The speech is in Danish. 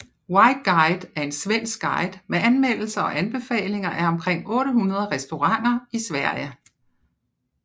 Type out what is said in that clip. White Guide er en svensk guide med anmeldelser og anbefalinger af omkring 800 restauranter i Sverige